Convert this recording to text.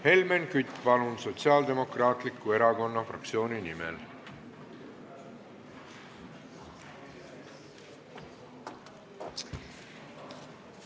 Helmen Kütt, palun, Sotsiaaldemokraatliku Erakonna fraktsiooni nimel!